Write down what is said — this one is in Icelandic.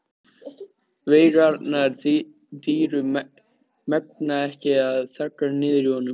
Veigarnar dýru megna ekki að þagga niður í honum.